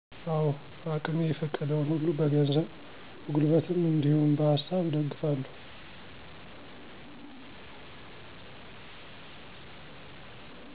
አዎ አቅሜ የፈቀደዉን ሁሉ በገንዘብ፣ በጉልበትም እነዲሁም በሃሳብ እደግፋለሁ።